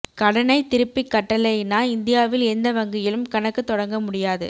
கடனை திருப்பிக் கட்டலைனா இந்தியாவில் எந்த வங்கியிலும் கணக்கு தொடங்க முடியாது